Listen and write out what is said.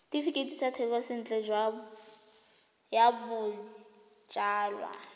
setefikeiti sa thekisontle ya bojalwa